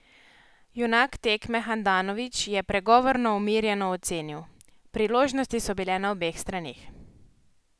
Junak tekme Handanović je pregovorno umirjeno ocenil: "Priložnosti so bile na obeh straneh.